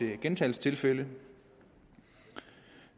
gentagelsestilfælde